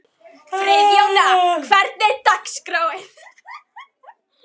Friðjóna, hvernig er dagskráin?